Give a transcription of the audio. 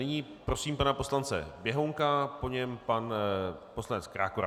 Nyní prosím pana poslance Běhounka, po něm pan poslanec Krákora.